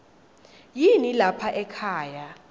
yini lapha ekhaya